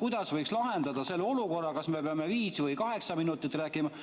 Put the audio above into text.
kuidas võiks lahendada selle olukorra, et kas me peame viis või kaheksa minutit rääkima.